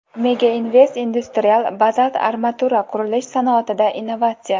Mega Invest Industrial: Bazalt armatura – qurilish sanoatida innovatsiya.